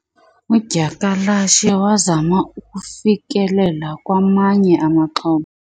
udyakalashe wazama ukufikelela kwamanye amaxhoba